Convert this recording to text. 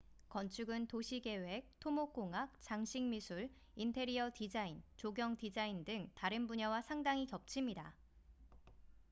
건축은 도시계획 토목공학 장식미술 인테리어 디자인 조경디자인 등 다른 분야와 상당히 겹칩니다